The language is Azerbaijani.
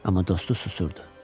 Amma dostu susurdu.